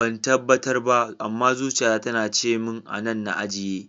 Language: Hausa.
Ban tabbatar ba, amma zuciya ta tana cimin anan na ajiye.